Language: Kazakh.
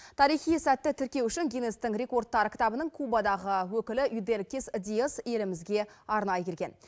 тарихи сәтті тіркеу үшін гиннестің рекордтар кітабының кубадағы өкілі юделькис диэс елімізге арнайы келген